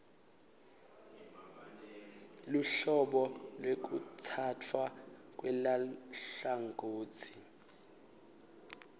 luhlobo lwekutsatfwa kweluhlangotsi